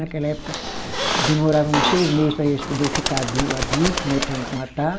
Naquela época demorava uns seis meses para eles poderem ficar adul, adulto, né, para a gente matar.